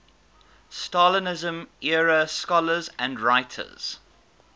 stalinism era scholars and writers